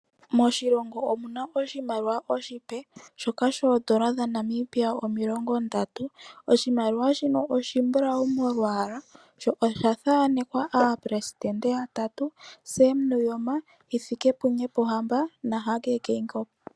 Moshilonga omuna oshimaliwa oshipe shoodola dha Namibia omilongo ndatu. Oshimalwa shino oshimbulawu molwaala sho osha thaanekwa oopelesitende yatatu: Sem Nuuyoma, Hifikepunye Pohamba na Hage Geingob.